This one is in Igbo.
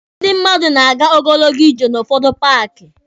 Ndị mmadụ na-aga ogologo ije n'ụfọdụ paaki.